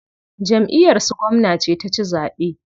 Jamʼiyar su gwamna ce ta ci zaɓe.